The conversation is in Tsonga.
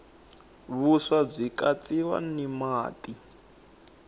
vuswa bwikatsiwa natamati